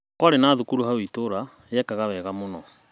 Kwarĩ na thukuru hau itũra yekaga wega mũno